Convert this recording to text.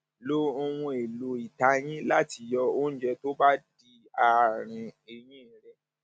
lo lo ohunèlò ìtayín láti yọ oúnjẹ tó bá dí àárín eyín rẹ